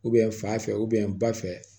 fa fɛ ba fɛ